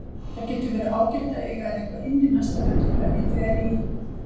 Það getur verið ágætt að eiga eitthvað inni næsta vetur ef ég fer í